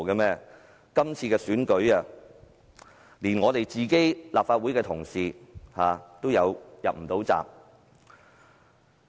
在這次特首選舉中，連我們的立法會同事也無法入閘。